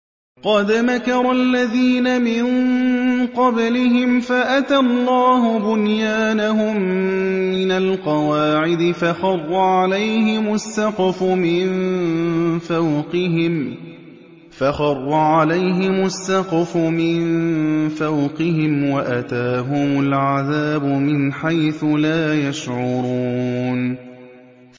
قَدْ مَكَرَ الَّذِينَ مِن قَبْلِهِمْ فَأَتَى اللَّهُ بُنْيَانَهُم مِّنَ الْقَوَاعِدِ فَخَرَّ عَلَيْهِمُ السَّقْفُ مِن فَوْقِهِمْ وَأَتَاهُمُ الْعَذَابُ مِنْ حَيْثُ لَا يَشْعُرُونَ